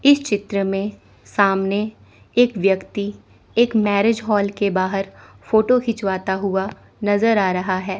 इस चित्र में सामने एक व्यक्ति एक मैरिज हॉल के बाहर फोटो खिंचवाता हुआ नजर आ रहा है।